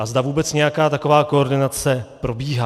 A zda vůbec nějaká taková koordinace probíhá.